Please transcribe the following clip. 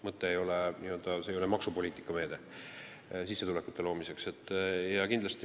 See ei ole maksupoliitika meede tulude loomiseks.